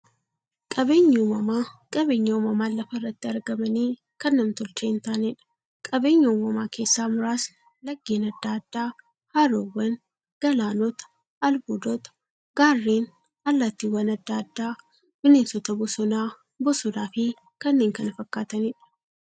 Qaabeenyi uumamaa qabeenya uumamaan lafa irratti argamanii, kan nam-tolchee hintaaneedha. Qabeenya uumamaa keessaa muraasni; laggeen adda addaa, haroowwan, galaanota, albuudota, gaarreen, allattiiwwan adda addaa, bineensota bosonaa, bosonafi kanneen kana fakkataniidha.